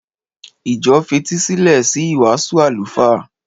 Ìjọ fetísílẹ̀ sí ìwàásù àlùfáà.